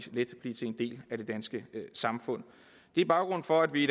del af det danske samfund det er baggrunden for at vi i